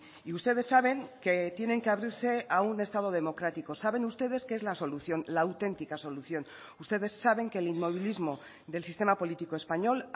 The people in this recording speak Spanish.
y ustedes saben que tienen que abrirse a un estado democrático saben ustedes que es la solución la auténtica solución ustedes saben que el inmovilismo del sistema político español